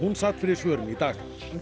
sat fyrir svörum í dag